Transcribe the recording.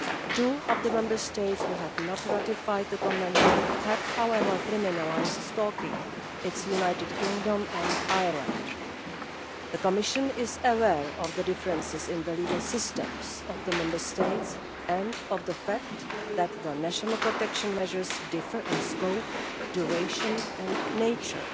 Two of the Member States which have not ratified the Convention have, however, criminalised stalking. These are the United Kingdom and Ireland. The Commission is aware of the differences in the legal systems of the Member States and of the fact that their national protection measures differ in scope, duration and nature.